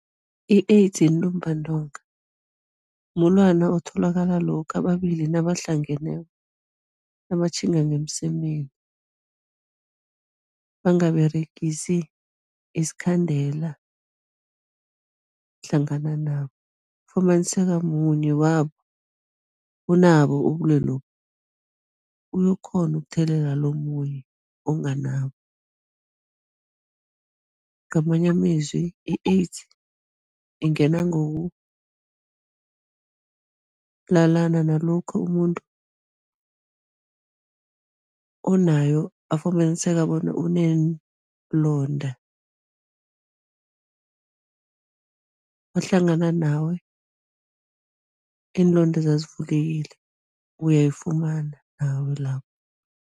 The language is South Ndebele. I-AIDS yintumbantonga, mulwana otholakala lokha ababili nabahlangeneko, nabatjhinga ngemsemeni, bangaberegisi isikhandela hlangana nabo. Ufumaniseka munye wabo, unabo ubulwelobu, uyakghona ukuthelelela lo omunye onganabo, ngamanye amezwi i-AIDS ingenwa ngokulalana nalokha umuntu onayo afumaniseka bona uneenlonda, wahlangana nawe iinlondeza zivulekile, uyayifumana nawe lapho.